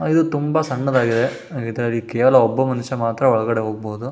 ಇದು ತುಂಬಾ ಸಣ್ಣದಾಗಿದೆ ಇದಾಗಿ ಕೇವಲ ಒಬ್ಬ ಮನುಷ್ಯ ಮಾತ್ರ ಒಳಗಡೆ ಹೋಗಬಹುದು.